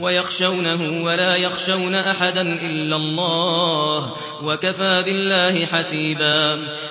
وَيَخْشَوْنَهُ وَلَا يَخْشَوْنَ أَحَدًا إِلَّا اللَّهَ ۗ وَكَفَىٰ بِاللَّهِ حَسِيبًا